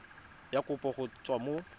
ya kopo go tswa mo